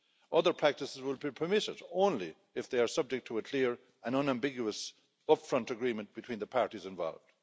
Other practices will be permitted only if they are subject to a clear and unambiguous upfront agreement between the parties involved.